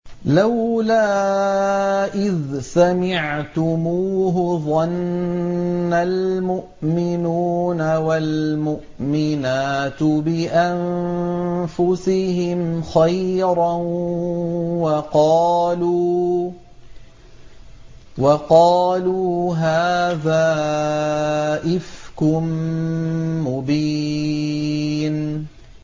لَّوْلَا إِذْ سَمِعْتُمُوهُ ظَنَّ الْمُؤْمِنُونَ وَالْمُؤْمِنَاتُ بِأَنفُسِهِمْ خَيْرًا وَقَالُوا هَٰذَا إِفْكٌ مُّبِينٌ